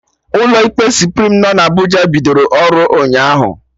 Ndị ụlọ ikpe Suprim nọ na Abụja bidoro ọrụ ụnyaahụ